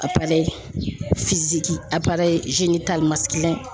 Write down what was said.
Apara ye a la ye.